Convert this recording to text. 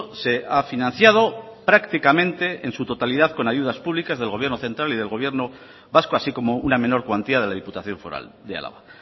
se ha financiado prácticamente en su totalidad con ayudas públicas del gobierno central y del gobierno vasco así como una menor cuantía de la diputación foral de álava